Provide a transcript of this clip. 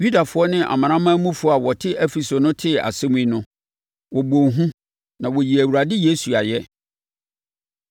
Yudafoɔ ne amanamanmufoɔ a wɔte Efeso no tee asɛm yi no, wɔbɔɔ hu na wɔyii Awurade Yesu ayɛ.